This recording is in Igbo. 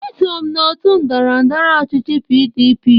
Eso m n'òtù ndọrọ ndọrọ ọchịchị PDP.